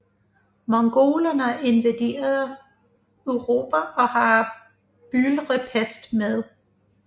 Mongolerne invaderer Europa og har byldepest med